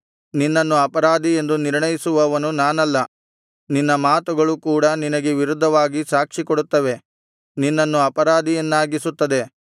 ನಿನ್ನನ್ನು ಅಪರಾಧಿಯೆಂದು ನಿರ್ಣಯಿಸುವವನು ನಾನಲ್ಲ ನಿನ್ನ ಮಾತುಗಳು ಕೂಡ ನಿನಗೆ ವಿರುದ್ಧವಾಗಿ ಸಾಕ್ಷಿ ಕೊಡುತ್ತವೆ ನಿನ್ನನ್ನು ಅಪರಾಧಿಯನ್ನಾಗಿಸುತ್ತದೆ